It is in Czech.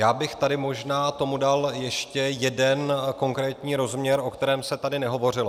Já bych tady možná tomu dal ještě jeden konkrétní rozměr, o kterém se tady nehovořilo.